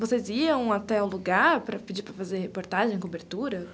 Vocês iam até o lugar para pedir para fazer reportagem, cobertura?